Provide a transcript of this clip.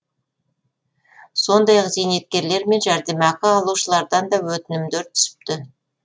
сондай ақ зейнеткерлер мен жәрдемақы алушылардан да өтінімдер түсіпті